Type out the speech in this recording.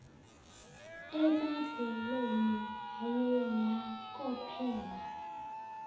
emabeleni yaye yakopela